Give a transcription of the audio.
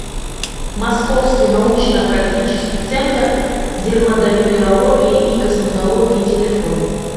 московский научно практический центр дерматовенерологии и косметологии телефон